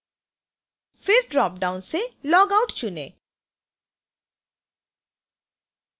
फिर dropdown से log out चुनें